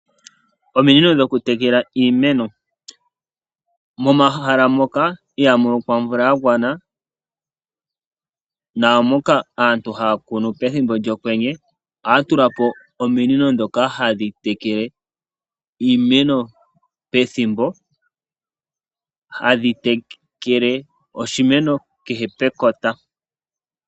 Ominino dhokutekela iimeno. Momahala moka ihamulokwa omvula yagwana naamoka aantu haya kunu pethimbo lyokwenye, ohaya tula po ominino dhoka hadhi tekele iimeno pethimbo, hadhi tekele oshimeno kehe pekota.